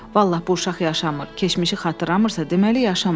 Vallah bu uşaq yaşamır, keçmişi xatırlamırsa deməli yaşamır.